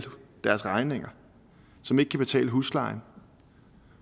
deres regninger som ikke kan betale huslejen